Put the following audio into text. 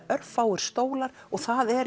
örfáir stólar og það er